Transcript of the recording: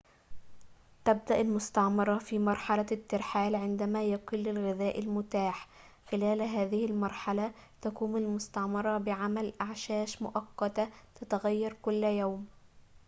تبدأ المستعمرة في مرحلة الترحال عندما يقل الغذاء المتاح خلال هذه المرحلة تقوم المستعمرة بعمل أعشاش مؤقتة تتغير كل يوم